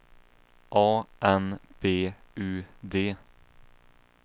A N B U D